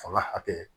Fanga hakɛ